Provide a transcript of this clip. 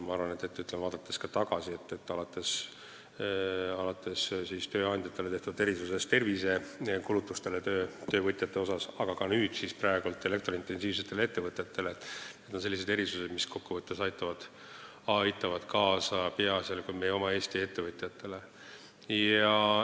Ma arvan, vaadates ka tagasi, alates tööandjatele tehtud erisusest töövõtjate tervisekulutuste maksustamisel kuni nüüd siis elektrointensiivsetele ettevõtetele tehtava erisuseni – need on sellised erisused, mis kokkuvõttes aitavad peaasjalikult meie oma Eesti ettevõtjaid.